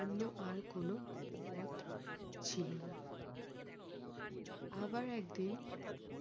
অন্য আর কোনো পথ ছিল না। আবার একদিন